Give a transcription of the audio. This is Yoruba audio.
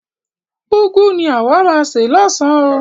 Úgwu ni àwa máa se lọ́san oo.